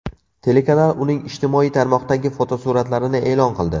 Telekanal uning ijtimoiy tarmoqdagi fotosuratlarini e’lon qildi.